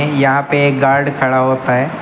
यहाँ पे एक गार्ड खड़ा होता है।